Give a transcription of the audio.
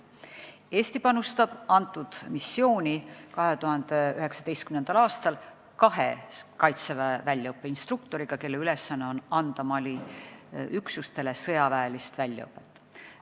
Eesti panustab 2019. aastal sellesse missiooni kahe Kaitseväe instruktoriga, kelle ülesanne on anda Mali üksustele sõjaväelist väljaõpet.